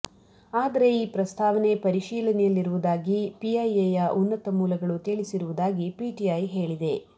ಆದರೆ ಈ ಪ್ರಸ್ತಾವನೆ ಪರಿಶೀಲನೆಯಲ್ಲಿರುವುದಾಗಿ ಪಿಐಎಯ ಉನ್ನತ ಮೂಲಗಳು ತಿಳಿಸಿರುವುದಾಗಿ ಪಿಟಿಐ ಹೇಳಿದೆ